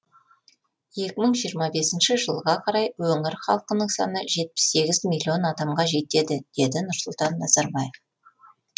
екімың жиырма бесінші жылға қарай өңір халқының саны жетпіс сегіз миллион адамға жетеді деді нұрсұлтан назарбаев